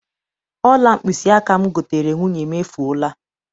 Ọla mkpịsịaka m goteere nwunye m, efuola.